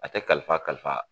A tɛ kalifa kalifa